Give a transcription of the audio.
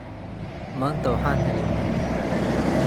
Maanta waxaan helay marti.